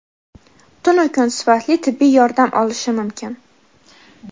tunu kun sifatli tibbiy yordam olishi mumkin.